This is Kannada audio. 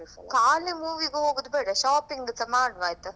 ಖಾಲಿ movie ಗೆ ಹೋಗುದು ಬೇಡ shopping ಸ ಮಾಡುವ ಆಯ್ತಾ.